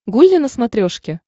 гулли на смотрешке